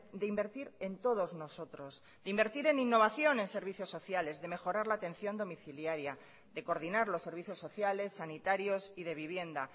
de invertir en todos nosotros de invertir en innovación en serviciossociales de mejorar la atención domiciliaria de coordinar los servicios sociales sanitarios y de vivienda